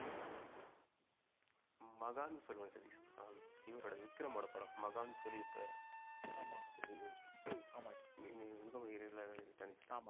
மகான் சொல்வேன் சதீஷ். இவரோட விக்ரம் ஓட படம் மகான் சொல்லி இப்ப, ஆமா. ஒரு இப்போ கூட ஆமா இடைல வந்துச்சு.